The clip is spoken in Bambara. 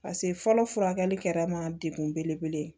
pase fɔlɔ furakɛli kɛra ma degun belebele ye